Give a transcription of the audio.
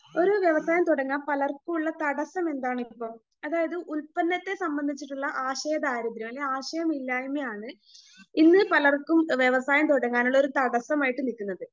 ഒരു വ്യവസായം തുടങ്ങാൻ പലർക്കുമുള്ള തടസ്സം എന്താ അതായത് ഉൽപ്പന്നത്തെ സംബന്ധിച്ചിട്ടുള്ള ആശയദാരിദ്ര്യം അല്ലെങ്കിൽ ആശയമില്ലായ്മയാണ് ഇന്ന് പലർക്കും വ്യവസായം തുടങ്ങാനുള്ളൊരു തടസ്സമായിട്ട് നിക്കുന്നത്.